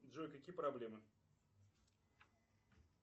джой какие проблемы